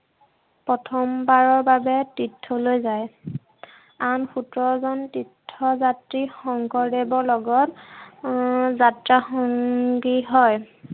প্ৰথমবাৰৰ বাবে তীৰ্থলৈ যায়। আন সোতৰজন তীৰ্থযাত্ৰী শংকৰদেৱৰ লগত উম যাত্ৰা সংগী হয়।